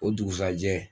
O dugusajɛ